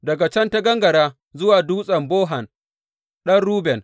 Daga can ta gangara zuwa Dutsen Bohan, ɗan Ruben.